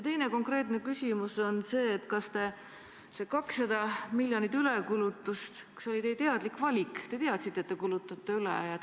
Teine konkreetne küsimus on see, kas see 200 miljonit ülekulutust oli teie teadlik valik, te teadsite, et te kulutate üle?